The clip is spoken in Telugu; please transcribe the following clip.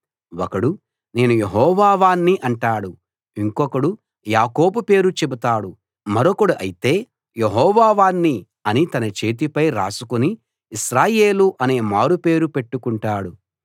ఒకడు నేను యెహోవా వాణ్ణి అంటాడు ఇంకొకడు యాకోబు పేరు చెబుతాడు మరొకడు అయితే యెహోవా వాణ్ణి అని తన చేతిపై రాసుకుని ఇశ్రాయేలు అనే మారు పేరు పెట్టుకుంటాడు